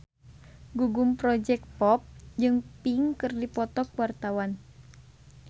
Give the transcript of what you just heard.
Gugum Project Pop jeung Pink keur dipoto ku wartawan